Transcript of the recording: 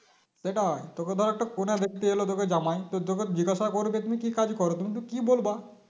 সেটাই তোকে ধর একটা মেয়ে দেখতে এলো তোকে জামাই তো তোকে জিজ্ঞাসা করবে তুমি কি কাজ করো তুমি কি বলবে